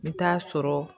N bɛ taa'a sɔrɔ